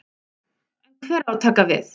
En hver á að taka við?